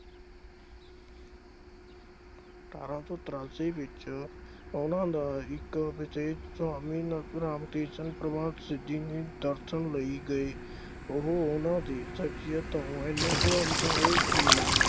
ਅਠਾਰਾਂ ਸੌ ਤਰਾਸੀ ਵਿੱਚ ਉਨ੍ਹਾਂ ਦਾ ਇੱਕ ਵਿਵੇਕ ਸੁਆਮੀ ਨੱਥੂਰਾਮ ਕ੍ਰਿਸ਼ਨ ਪਰਮਹੰਸ ਜੀ ਦੇ ਦਰਸ਼ਨ ਲਈ ਗਏ। ਉਹ ਉਨ੍ਹਾਂ ਦੀ ਸਿੱਖਿਆ ਤੋਂ ਐਨਾ ਪ੍ਰਭਾਵਿਤ ਹੋਏ ਕਿ